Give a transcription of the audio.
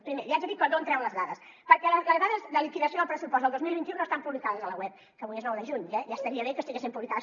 primer li haig de dir que d’on treu les dades perquè les dades de liquidació del pressupost del dos mil vint u no estan publicades a la web que avui és nou de juny ja estaria bé que estiguessin publicades